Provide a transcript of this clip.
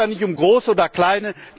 Es geht da nicht um groß oder klein.